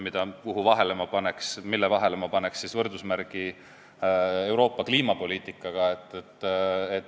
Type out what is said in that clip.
Selle ja Euroopa kliimapoliitika vahele ma paneks võrdusmärgi.